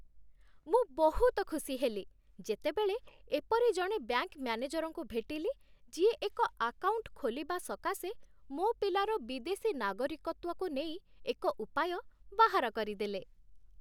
ମୁଁ ବହୁତ ଖିସି ହେଲି, ଯେତେବେଳେ ଏପରି ଜଣେ ବ୍ୟାଙ୍କ ମ୍ୟାନେଜରଙ୍କୁ ଭେଟିଲି ଯିଏ ଏକ ଆକାଉଣ୍ଟ ଖୋଲିବା ସକାଶେ ମୋ ପିଲାର ବିଦେଶୀ ନାଗରିକତ୍ୱକୁ ନେଇ ଏକ ଉପାୟ ବାହାର କରିଦେଲେ ।